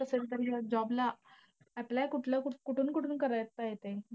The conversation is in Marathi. सरकारी अं job ला apply कुठल्या~ कुठून कुठून करायचंय ते.